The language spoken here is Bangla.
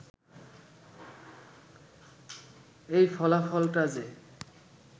এই ফলাফলটা যে